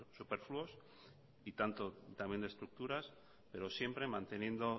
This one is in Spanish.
superfluos y tanto también de estructuras pero siempre manteniendo